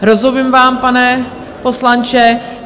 Rozumím vám, pane poslanče.